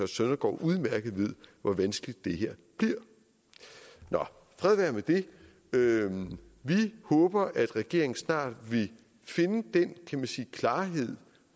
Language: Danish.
søndergaard udmærket ved hvor vanskeligt det her bliver nå fred være med det vi håber at regeringen snart vil finde den kan man sige klarhed